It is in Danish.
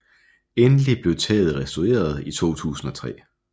Endelig blev taget restaureret i 2003